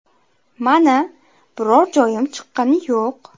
Mana, biror joyim chiqqani yo‘q.